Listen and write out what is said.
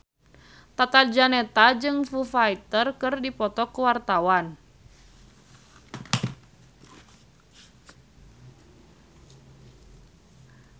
Tata Janeta jeung Foo Fighter keur dipoto ku wartawan